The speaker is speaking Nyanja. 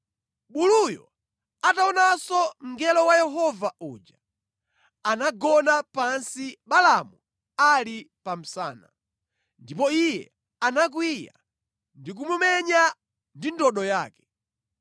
Buluyo ataonanso mngelo wa Yehova uja, anagona pansi Balaamu ali pa msana, ndipo iye anakwiya ndi kumumenya ndi ndodo yake.